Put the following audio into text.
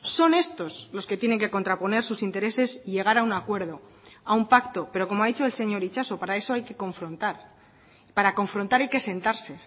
son estos los que tienen que contraponer sus intereses y llegar a un acuerdo a un pacto pero como ha dicho el señor itxaso para eso hay que confrontar para confrontar hay que sentarse